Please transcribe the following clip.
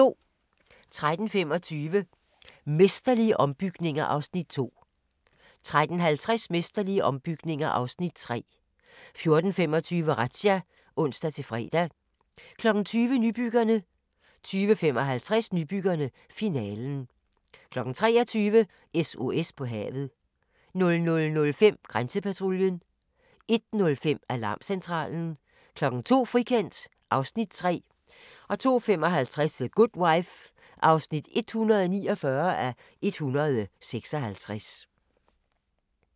13:25: Mesterlige ombygninger (Afs. 2) 13:50: Mesterlige ombygninger (Afs. 3) 14:25: Razzia (ons-fre) 20:00: Nybyggerne 20:55: Nybyggerne - finalen 23:00: SOS på havet 00:05: Grænsepatruljen 01:05: Alarmcentralen 02:00: Frikendt (Afs. 3) 02:55: The Good Wife (149:156)